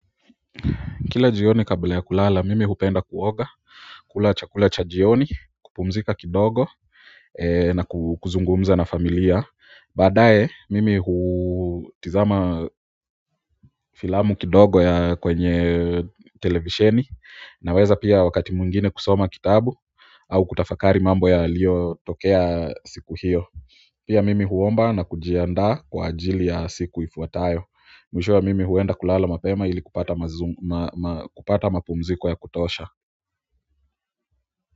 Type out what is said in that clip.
Kila jioni kabla ya kulala mimi hupenda kuoga, kula chakula cha jioni kupumzika kidogo na kuzungumza na familia, baadaye mimi hutizama filamu kidogo ya kwenye televisheni naweza pia wakati mwingine kusoma kitabu au kutafakari mambo yaliyo tokea siku hiyo pia mimi huomba na kujiandaa kwa ajili ya siku ifuatayo. Mwishowe mimi huenda kulala mapema ili kupata mapumziko ya kutosha.